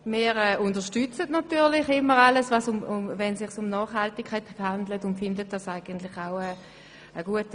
Wir unterstützen eigentlich alles, wenn es sich um Nachhaltigkeit handelt und finden die Stossrichtung gut.